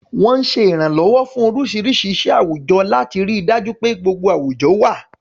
Wọ́n ń ṣe ìrànlọ́wọ́ fún oríṣiríṣi iṣẹ́ àwùjọ, láti rí i dájú pé gbogbo àwùjọ wà.